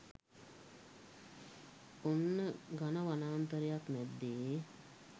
ඔන්න ඝන වනාන්තරයක් මැද්දේ